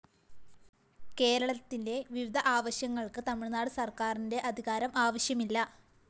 കേരളത്തിലെ വിവിധ ആവശ്യങ്ങള്‍ക്ക് തമിഴ്‌നാട് സര്‍ക്കാറിന്റെ അധികാരം ആവശ്യമില്ല